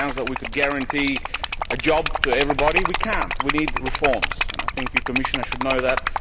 It sounds as though we could guarantee a job to everybody. We cannot. We need reforms, and I think the Commissioner should know that.